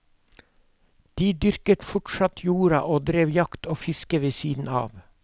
De dyrket fortsatt jorda og drev jakt og fiske ved siden av.